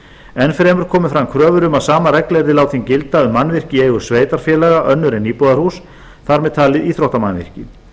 enn fremur komu fram kröfur um að sama regla yrði látin gilda um mannvirki í eigu sveitarfélaga önnur en íbúðarhús þar með talin íþróttamannvirki